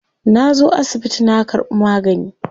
Na zo asibiti na karbi magani.